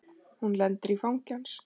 Hún lendir í fangi hans.